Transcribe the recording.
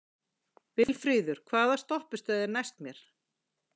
Vilfríður, hvaða stoppistöð er næst mér?